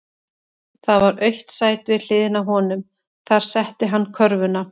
Það var autt sæti við hliðina á honum, þar setti hann körfuna.